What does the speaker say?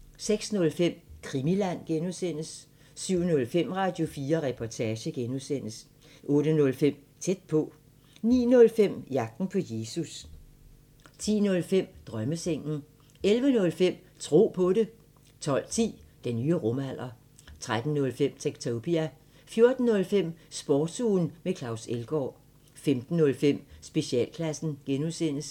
06:05: Krimiland (G) 07:05: Radio4 Reportage (G) 08:05: Tæt på 09:05: Jagten på Jesus 10:05: Drømmesengen 11:05: Tro på det 12:10: Den nye rumalder 13:05: Techtopia 14:05: Sportsugen med Claus Elgaard 15:05: Specialklassen (G)